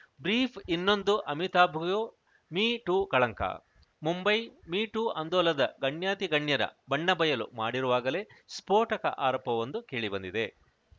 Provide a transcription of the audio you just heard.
brief ಇನ್ನೊಂದು ಅಮಿತಾಭ್‌ಗೂ me too ಕಳಂಕ ಮುಂಬೈ ಮೀ ಟೂ ಆಂದೋಲನ ಗಣ್ಯಾತಿಗಣ್ಯರ ಬಣ್ಣ ಬಯಲು ಮಾಡಿರುವಾಗಲೇ ಸ್ಫೋಟಕ ಆರೋಪವೊಂದು ಕೇಳಿಬಂದಿದೆ